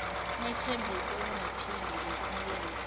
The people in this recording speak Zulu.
nithembise ukungaphinde nilenze